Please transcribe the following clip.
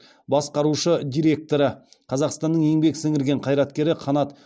басқарушы директоры қазақстанның еңбек сіңірген қайраткері қанат